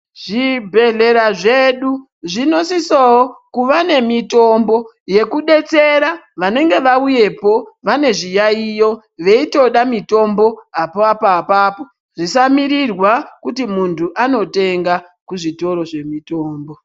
Zvibhedhlela zvedu, zvinosisowo kuva nemitombo yekudetsera vanenge vauye po, vanezviyayiyo, veyitoda mitombo apapo apapo. Zvisamirirwa kuti muntu anotenga kuzvitoro zvemitombo.